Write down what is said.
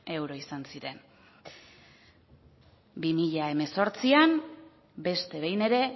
euro izan ziren bi mila hemezortzian beste behin ere